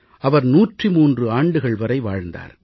அவர் 103 ஆண்டுகள் வரை வாழ்ந்திருந்தார்